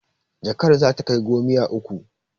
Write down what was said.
Jakar za ta kai gomiyya uku.